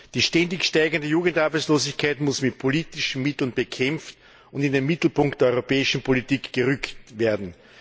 Die ständig steigende Jugendarbeitslosigkeit muss mit politischen Mitteln bekämpft und in den Mittelpunkt der europäischen Politik gerückt werden.